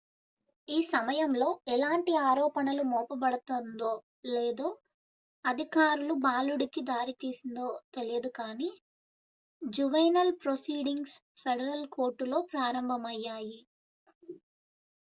ఈ సమయంలో ఎలాంటి ఆరోపణలు మోపబడతందో లేదా అధికారులు బాలుడికి దారి తీసిందో తెలియదు కానీ జువెనైల్ ప్రొసీడింగ్స్ ఫెడరల్ కోర్టులో ప్రారంభమయ్యాయి